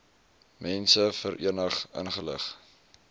mense verenig ingelig